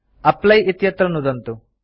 apply इत्यत्र नुदन्तु